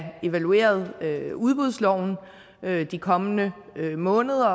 evalueret udbudsloven de kommende måneder